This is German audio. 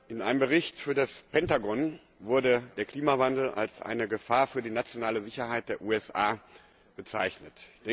In einem Bericht für das Pentagon wurde der Klimawandel als eine Gefahr für die nationale Sicherheit der USA bezeichnet.